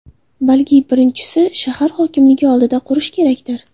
Balki birinchisini shahar hokimligi oldida qurish kerakdir?.